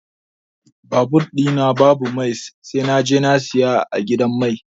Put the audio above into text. Babur ɗi na babu mai sai naje na siya a gidan mai.